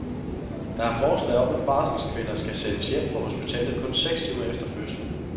Der er forslag om at barselskvinder skal sendes hjem fra hospitalet kun seks timer efter fødslen.